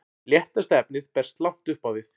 léttasta efnið berst langt upp á við